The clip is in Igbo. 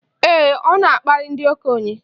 Ee, ọ na-akparị ndị okenye.